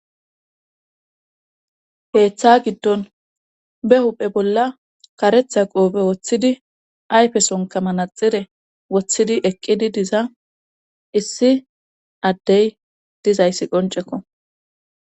Keeththa giddon be huphe bolla karetha qoobe woththidi ayfe sonkamanaxire woththidi eqqidi diza issi addey dizayssi qoncekko.